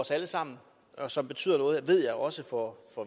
os alle sammen og som betyder noget ved jeg også for